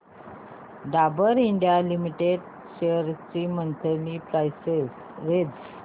Dabur India limited shares ची monthly price range